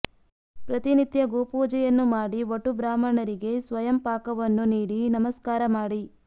ಪ್ರತಿನಿತ್ಯ ಗೋ ಪೂಜೆಯನ್ನು ಮಾಡಿ ವಟು ಬ್ರಾಹ್ಮಣರಿಗೆ ಸ್ವಯಂ ಪಾಕವನ್ನು ನೀಡಿ ನಮಸ್ಕಾರ ಮಾಡಿ